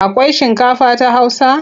Akwai shinkafa ta Hausa?